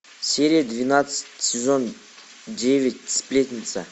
серия двенадцать сезон девять сплетница